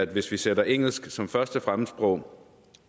hvis vi sætter engelsk som første fremmedsprog